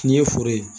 N'i ye foro ye